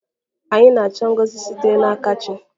Anyị na-achọ ngọzi sitere n'aka chi.